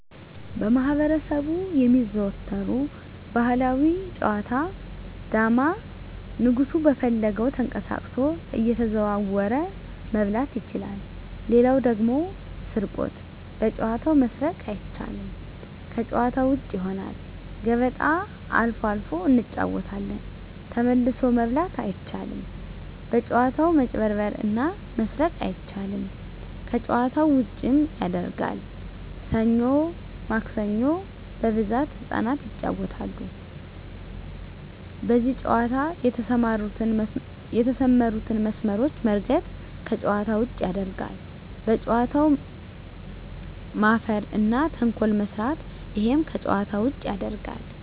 በማህበረሰቡ የሚዘወተሩ ባህላዊ ጨዋታ ዳማ ንጉሡ በፈለገው ተቀሳቅሶ እየተዘዋወረ መብላት ይችላል ሌላው ደግሞ ስርቆት በጨዋታው መስረቅ አይቻልም ከጭዋታ ውጭ ይሆናል ገበጣ አልፎ አልፎ እንጫወታለን ተመልሶ መብላት አይቻልም በጭዋታው መጭበርበር እና መስረቅ አይቻልም ከጨዋታው ዉጭም ያረጋል ሠኞ ማክሰኞ በብዛት ህጻናት ይጫወታሉ በዚህ ጨዋታ የተሠማሩትን መስመሮች መርገጥ ከጨዋታ ውጭ ያረጋል በጨዋታው መፈረ እና ተንኮል መስራት እሄም ከጨዋታ ውጭ ያረጋል